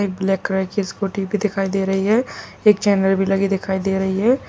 एक black colour की scooty भी दिखाई दे रही है एक चैनल भी लगी हुए दिखाई दे रही है।